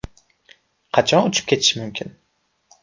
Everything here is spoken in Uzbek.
Qachon uchib ketish mumkin?